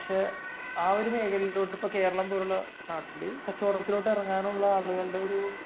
പക്ഷെ ആ ഒരു മേഖലയിലോട്ട് ഇപ്പം കേരളം പോലുള്ള നാട്ടില് കച്ചവടത്തിന് ഇറങ്ങാനുള്ള ആളുകളുടെ ഒരു